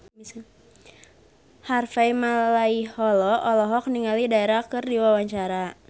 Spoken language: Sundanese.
Harvey Malaiholo olohok ningali Dara keur diwawancara